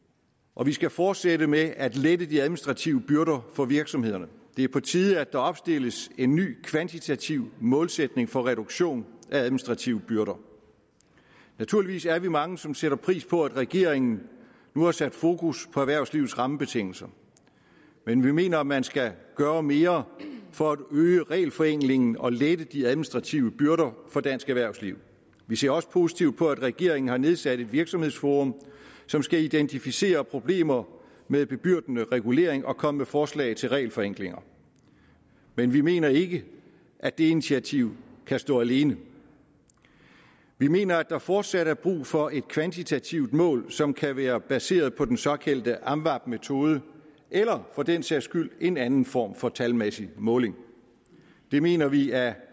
og vi skal fortsætte med at lette de administrative byrder for virksomhederne det er på tide at der opstilles en ny kvantitativ målsætning for reduktion af administrative byrder naturligvis er vi mange som sætter pris på at regeringen nu har sat fokus på erhvervslivets rammebetingelser men vi mener at man skal gøre mere for at øge regelforenklingen og lette de administrative byrder for dansk erhvervsliv vi ser også positivt på at regeringen har nedsat et virksomhedsforum som skal identificere problemer med bebyrdende regulering og komme med forslag til regelforenklinger men vi mener ikke at det initiativ kan stå alene vi mener at der fortsat er brug for et kvantitativt mål som kan være baseret på den såkaldte amvab metode eller for den sags skyld en anden form for talmæssig måling det mener vi af